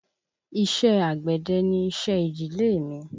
Iṣé àgbẹ̀dẹ ni iṣẹ́ ìdílé mí.